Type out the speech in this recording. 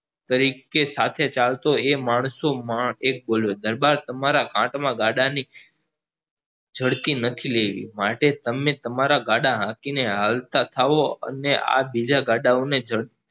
તરીકે સાથે ચાલતો એ માણસો માનો એક બોલ્યો દરબાર તમારા ગાળા ની નથી લેવી એથી તમે તમારા ગાળા લઈને હાલતા થાઓ અને આ બીજા ગાળા ઓ ને